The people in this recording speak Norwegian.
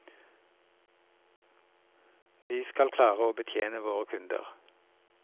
Vi skal klare å betjene våre kunder.